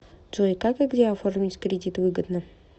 джой как и где оформить кредит выгодно